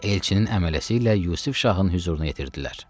Elçinin əmələsi ilə Yusif Şahın hüzuruna yetirdilər.